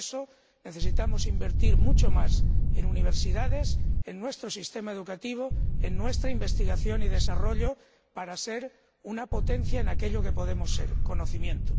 Por eso, necesitamos invertir mucho más en universidades, en nuestro sistema educativo y en nuestra investigación y desarrollo para ser una potencia en aquello en que podemos serlo el conocimiento.